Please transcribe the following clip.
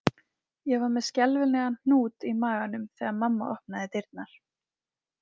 Ég var með skelfilegan hnút í maganum þegar mamma opnaði dyrnar